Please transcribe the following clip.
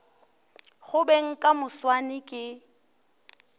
go beng ka moswane ke